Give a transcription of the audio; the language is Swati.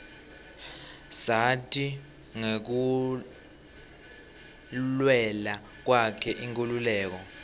sati ngekulwela kwakhe inkhululeko